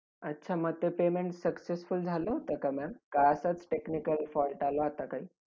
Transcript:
अच्छा! मग ते payment successful झालं होतं का ma'am का? असंच technical fault आला होता काही?